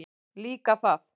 Líka það.